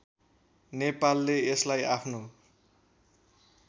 नेपालले यसलाई आफ्नो